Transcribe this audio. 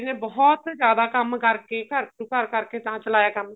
ਨੇ ਬਹੁਤ ਜਿਆਦਾ ਕੰਮ ਕਰਕੇ ਘਰ ਤੋ ਘਰ ਕਰਕੇ ਤਾਂ ਚਲਾਇਆ ਕੰਮ